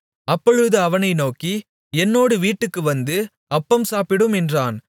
அப்பொழுது அவனை நோக்கி என்னோடு வீட்டுக்கு வந்து அப்பம் சாப்பிடும் என்றான்